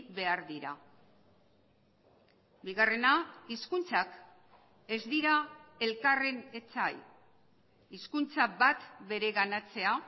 behar dira bigarrena hizkuntzak ez dira elkarren etsai hizkuntza bat bereganatzea